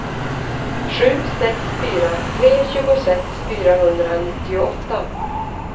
sju sex fyra tre tjugosex fyrahundranittioåtta